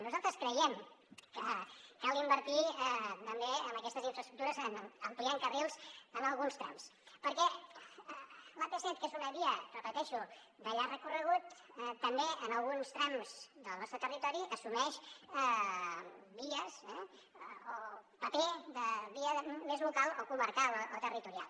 nosaltres creiem que cal invertir també en aquestes infraestructures ampliant carrils en alguns trams perquè l’ap set que és una via ho repeteixo de llarg recorregut també en alguns trams del nostre territori assumeix paper de via més local o comarcal o territorial